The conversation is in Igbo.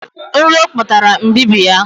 Nro kpatara mbibi ya